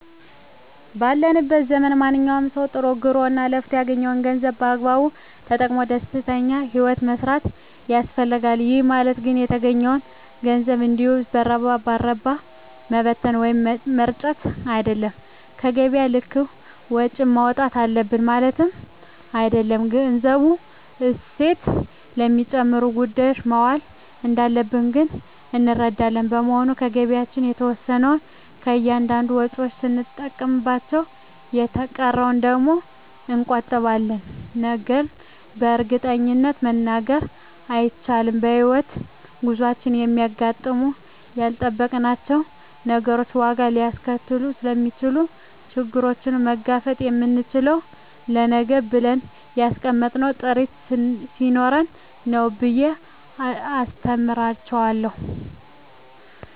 ባለንበት ዘመን ማንኛዉም ሰዉ ጥሮ ግሮእና ለፍቶ ያገኘዉን ገንዘብ በአግባቡ ተጠቅሞ ደስተኛ ህይወትን መምራት ይፈልጋል ይህ ማለት ግን የተገኘዉን ገንዘብ እንዲሁ በረባ ባረባዉ መበተን ወይም መርጨት አይደለም በገቢያችን ልክም ወጪ ማዉጣት አለብን ማለትም አይደለም ገንዘቡ እሴት ለሚጨምሩ ጉዳዮች መዋል እንዳለበት ግን እንረዳለን በመሆኑም ከገቢያችን የተወሰነዉን ለእያንዳንድ ወጪዎች ስንጠቀምበት የተቀረዉን ደግሞ እንቆጥበዋለን ነገን በእርግጠኝነት መናገር ስለማይቻልም በሕይወት ጉዟችን የሚያጋጥሙን ያልጠበቅናቸዉ ነገሮች ዋጋ ሊያስከፍሉን ስለሚችሉ ችግሩን መጋፈጥ የምንችለዉ ለነገ ብለን ያስቀመጥነዉ ጥሪት ስኖረን ነዉ ብየ አስተምራቸዋለሁ